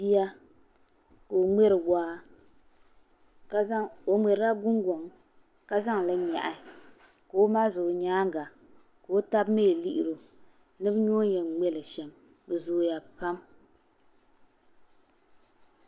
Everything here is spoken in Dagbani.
Bia ka o ŋmɛri gungoŋ ka zaŋli n yɛɣi ka o mali o yɛanga ka o taba mi lihiri o ni bi yɛ o ni yɛn mŋɛle shɛm bi zooya pam.